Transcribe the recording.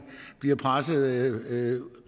bliver presset ud